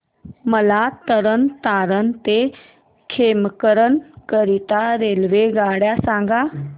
मला तरण तारण ते खेमकरन करीता रेल्वेगाड्या सांगा